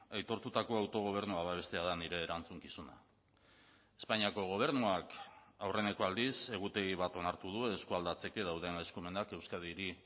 aitortutako autogobernua babestea da nire erantzukizuna espainiako gobernuak aurreneko aldiz egutegi bat onartu du eskualdatzeke dauden eskumenak euskadiri